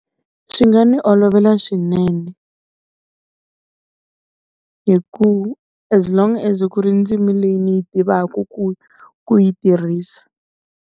Swi nga ni olovela swinene, hi ku as long as ku ri ndzimi leyi ni yi tivaka ku ku yi tirhisa.